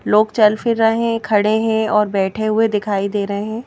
लोग चल फिर रहे हैं खड़े हैं और बैठे हुए दिखाई दे रहे हैं।